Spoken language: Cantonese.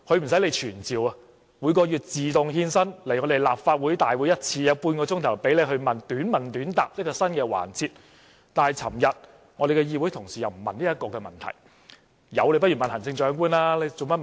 她不用傳召，每月一次自動獻身來到立法會大會，出席新增的半小時短問短答環節，但我們的議會同事昨天卻不詢問這個問題。